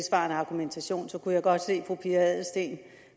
argumentation kunne jeg godt se fru pia adelsteen